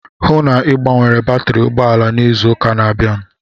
Hụụ na Ị gbanwere batri ụgbọala n'izu ụka na-abịanụ!